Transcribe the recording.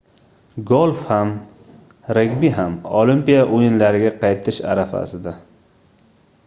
golf ham regbi ham olimpiya oʻyinlariga qaytish arafasida